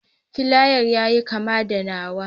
Filayan yayi kama da nawa.